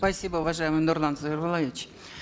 спасибо уважаемый нурлан зайроллаевич